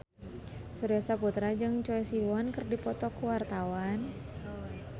Surya Saputra jeung Choi Siwon keur dipoto ku wartawan